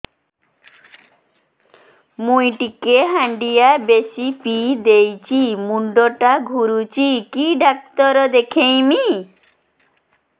ମୁଇ ଟିକେ ହାଣ୍ଡିଆ ବେଶି ପିଇ ଦେଇଛି ମୁଣ୍ଡ ଟା ଘୁରୁଚି କି ଡାକ୍ତର ଦେଖେଇମି